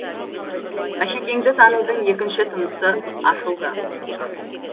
мәшекеңді танудың екінші тынысы ашылды